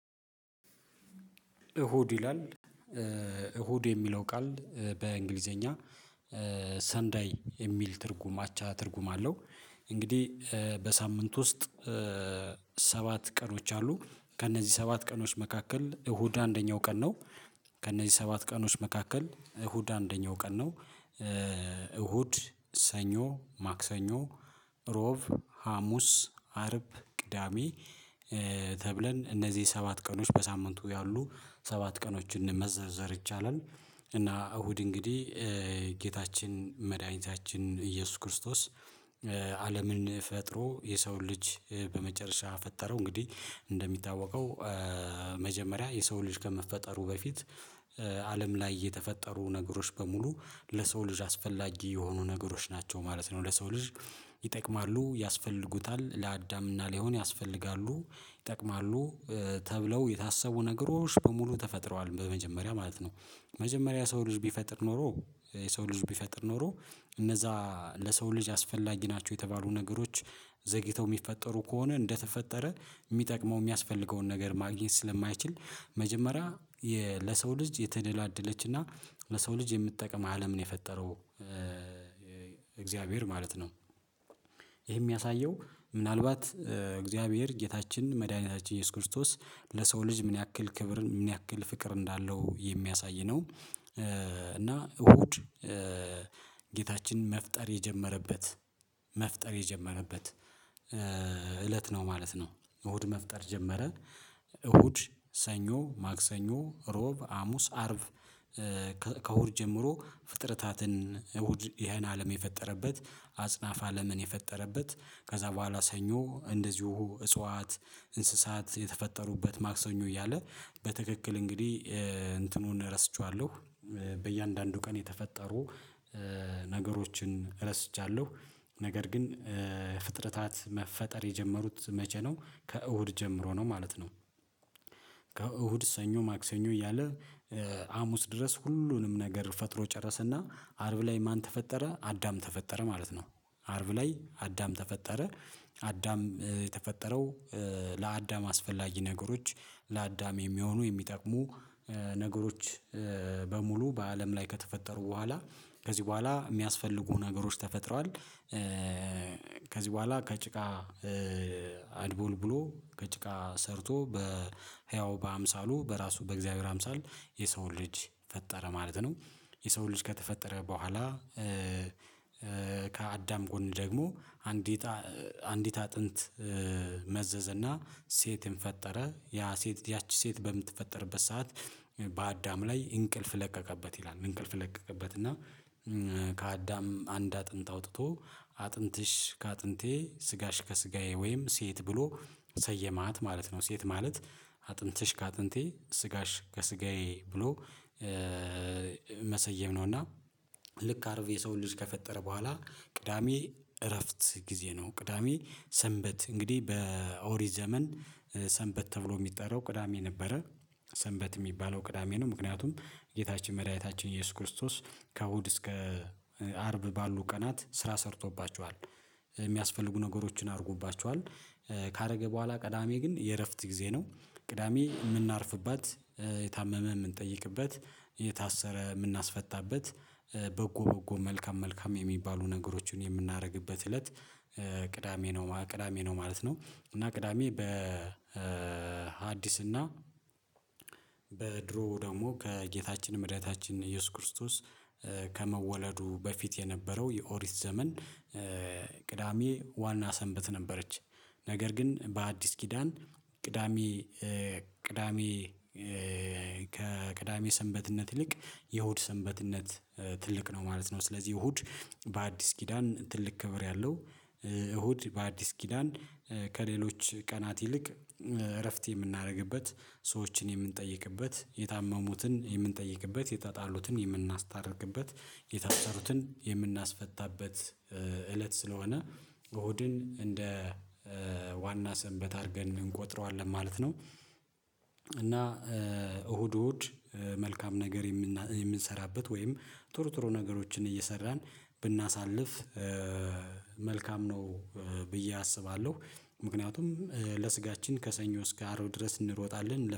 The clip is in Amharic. እሁድ ይላል እሁድ የሚለው ቃል በእንግሊዘኛ ሰንዳይ የሚል ትርጉም አቻ ትርጉም አለው። እንግዲህ በሳምንት ውስጥ ሰባት ቀኖች አሉ ከእነዚህ ሰባት ቀኖች መካከል እሁድ አንደኛው ቀን ነው። ከእነዚህ ሰባት ቀኖች መካከል እሁድ አንደኛው ቀን ነው። እሁድ ሰኞ ማክሰኞ እሮብ ሀሙስ አርብ ቅዳሜ ተብለን እነዚህ ሰባት ቀኖች በሳምንቱ ያሉ ሰባት ቀኖችን መዘርዘር ይቻላል። እና እሁድ እንግዲህ ጌታችን መድኃኒታችን ኢየሱስ ክርስቶስ። አለምን ፈጥሮ የሰውን ልጅ በመጨረሻ ፈጠረው እንግዲህ እንደሚታወቀው መጀመሪያ የሰው ልጅ ከመፈጠሩ በፊት አለም ላይ የተፈጠሩ ነገሮች በሙሉ ለሰው ልጅ አስፈላጊ የሆኑ ነገሮች ናቸው ማለት ነው። ለሰው ልጅ ይጠቅማሉ ያስፈልጉታል ለአዳምና ሊሆን ያስፈልጋሉ ይጠቅማሉ ተብለው የታሰቡ ነገሮች በሙሉ ተፈጥረዋል በመጀመሪያ ማለት ነው። መጀመሪያ ሰው ልጅ ቢፈጥር ኖሮ የሰው ልጅ ቢፈጥር ኖሮ እነዛ ለሰው ልጅ አስፈላጊ ናቸው የተባሉ ነገሮች ዘግይተው የሚፈጠሩ ከሆነ እንደተፈጠረ የሚጠቅመው የሚያስፈልገውን ነገር ማግኘት ስለማይችል መጀመሪያ የ ለሰው ልጅ የተደላደለችና ለሰው ልጅ የምጠቀም አለም ነው የፈጠረው እግዚአብሔር ማለት ነው። ይሄ የሚያሳየው ምናልባት እግዚአብሔር ጌታችን መድኃኒታችን ኢየሱስ ክርስቶስ ለሰው ልጅ ምን ያክል ክብርን ምን ያክል ፍቅር እንዳለው የሚያሳይ ነው። እና እሁድ ጌታችን መፍጠር የጀመረበት መፍጠር የጀመረበት እለት ነው ማለት ነው። እሁድ መፍጠር ጀመረ። እሁድ ሰኞ ማክሰኞ ሮብ አሙስ አርብ። ከእሁድ ጀምሮ ፍጥረታትን እሁድ ይሄን አለም የፈጠረበት አጽናፍ አለምን የፈጠረበት ከዛ በኋላ ሰኞ እንደዚሁ እጽዋት እንስሳት የተፈጠሩበት ማክሰኞ እያለ በትክክል እንግዲህ እንትኑን ረስቼዋለሁ። በእያንዳንዱ ቀን የተፈጠሩ ነገሮችን ረስቻለሁ ነገር ግን ፍጥረታት መፈጠር የጀመሩት መቼ ነው? ከእሁድ ጀምሮ ነው ማለት ነው። ከእሁድ ሰኞ ማክሰኞ እያለ አሙስ ድረስ ሁሉንም ነገር ፈጥሮ ጨረሰና አርብ ላይ ማን ተፈጠረ አዳም ተፈጠረ ማለት ነው። አርብ ላይ አዳም ተፈጠረ። አዳም የተፈጠረው ለአዳም አስፈላጊ ነገሮች ለአዳም የሚሆኑ የሚጠቅሙ ነገሮች በሙሉ በአለም ላይ ከተፈጠሩ በኋላ ከዚህ በኋላ የሚያስፈልጉ ነገሮች ተፈጥሯል። ከዚህ በኋላ ከጭቃ አድቦልቡሎ ከጭቃ ሰርቶ በህያው በአምሳሉ በራሱ በእግዚአብሔር አምሳል የሰው ልጅ ፈጠረ ማለት ነው። የሰው ልጅ ከተፈጠረ በኋላ ከአዳም ጎን ደግሞ አንዲት አንዲት አጥንት መዘዘና ሴትን ፈጠረ ያ ሴት ያቺ ሴት በምትፈጠርበት ሰዓት በአዳም ላይ እንቅልፍ ለቀቀበት ይላል እንቅልፍ ለቀቀበት እና። ከአዳም አንድ አጥንት አውጥቶ አጥንትሽ ከአጥንቴ ስጋሽ ከስጋዬ ወይም ሴት ብሎ ሰየማት ማለት ነው። ሴት ማለት አጥንትሽ ከአጥንቴ ስጋሽ ከስጋዬ ብሎ መሰየም ነው። እና ልክ አርብ የሰውን ልጅ ከፈጠረ በኋላ ቅዳሜ እረፍት ጊዜ ነው ቅዳሜ ሰንበት እንግዲህ በኦሪ ዘመን ሰንበት ተብሎ የሚጠራው ቅዳሜ ነበረ። ሰንበት የሚባለው ቅዳሜ ነው ምክንያቱም ጌታችን መድኃኒታችን ኢየሱስ ክርስቶስ ከእሁድ እስከ አርብ ባሉ ቀናት ስራ ሰርቶባቸዋል የሚያስፈልጉ ነገሮችን አርጎባቸዋል ካደረገ በኋላ ቅዳሜ ግን የእረፍት ጊዜ ነው። ቅዳሜ የምናርፍባት የታመመ የምንጠይቅበት የታሰረ የምናስፈታበት በጎ በጎ መልካም መልካም የሚባሉ ነገሮችን የምናደርግበት እለት ቅዳሜ ነው ቅዳሜ ነው ማለት ነው። እና ቅዳሜ በሀዲስና ደግሞ ከጌታችን መድኃኒታችን ኢየሱስ ክርስቶስ ከመወለዱ በፊት የነበረው የኦሪት ዘመን ቅዳሜ ዋና ሰንበት ነበረች። ነገር ግን በአዲስ ኪዳን ቅዳሜ ቅዳሜ ከቅዳሜ ሰንበትነት ይልቅ የሁድ ሰንበትነት ትልቅ ነው ማለት ነው። ስለዚህ እሁድ በአዲስ ኪዳን ትልቅ ክብር ያለው እሁድ በአዲስ ኪዳን ከሌሎች ቀናት ይልቅ እረፍት የምናደርግበት ሰዎችን የምንጠይቅበት የታመሙትን የምንጠይቅበት የተጣሉትን የምናስታርቅበት የታሰሩትን የምናስፈታበት እለት ስለሆነ በሆድን እንደ ዋና ሰንበት አድርገን እንቆጥረዋለን ማለት ነው። እና እሁድ እሁድ መልካም ነገር የምንሰራበት ወይም ጥሩ ጥሩ ነገሮችን እየሰራን ብናሳልፍ መልካም ነው። ብዬ አስባለሁ ምክንያቱም ለስጋችን ከሰኞ እስከ አርብ ድረስ እንሮጣለን